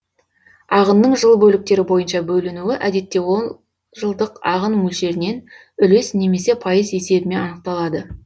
ағынның жыл бөліктері бойынша бөлінуі әдетте ол жылдық ағын мөлшерінен үлес немесе пайыз есебімен анықталады